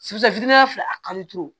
fila a kari ture